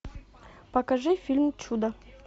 покажи фильм чудо